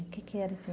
O que era